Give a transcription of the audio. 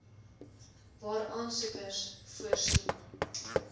waar aansoekers voorsien